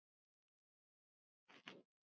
Rúrik inn og Emil út?